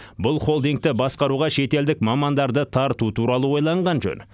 бұл холдингті басқаруға шетелдік мамандарды тарту туралы ойланған жөн